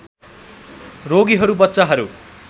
रोगीहरू बच्चाहरू